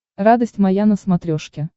радость моя на смотрешке